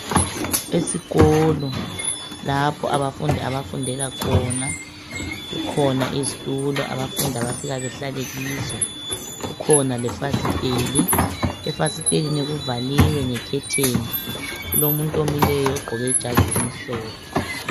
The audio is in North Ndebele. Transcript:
Esikolo lapho abafundi abafundela khona kukhona izitulo abafundi abafika behlale kizo kukhona lefasiteli ,efasitelini kuvaliwe nge curtain kulomuntu omileyo ogqoke ijazi elimhlophe.